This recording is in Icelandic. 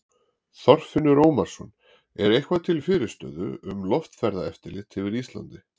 Þorfinnur Ómarsson: Er eitthvað til fyrirstöðu um loftferðaeftirlit yfir Íslandi?